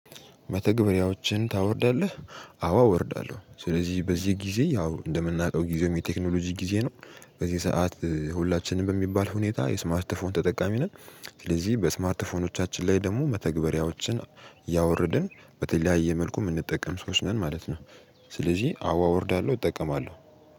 መተግበሪያዎችን ታወርዳለህ አዎ እወርዳለሁ ስለዚህ በዚህ ጊዜ ያው እንደምናውቀው ጊዜው የቴክኖሎጂ ጊዜ ነው በዚህ ሰዓት ሁላችንም በሚባል ሁኔታ የስማርት ፎን ተጠቃሚ ነን ስለዚህ በስማርት ፎኖቻችን ላይ ደግሞ መተግበሪያዎችን ያወርድን በተለያየ መልኩ ምንጠቀም ሰዎች ነን ማለት ነው ስለዚህ አዋ እወርዳለ፤ እጠቀማለሁ።